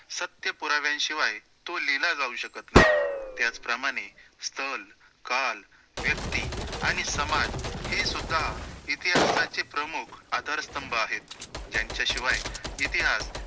सत्य पुरव्यांशिवाय तो लिहिला जाऊ शकतं नाही, त्याचप्रमाणे स्थळ, काळ, व्यक्ति आणि समाज हे सुद्धा इतिहासाचे प्रमुख आधार स्तंभ आहेत, ज्यांच्याशिवाय इतिहास